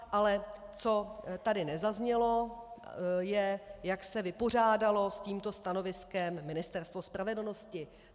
Ale co tady nezaznělo, je, jak se vypořádalo s tímto stanoviskem Ministerstvo spravedlnosti.